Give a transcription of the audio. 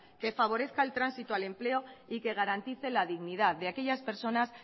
que favorezca el tránsito al empleo y que garantice la dignidad de aquellas personas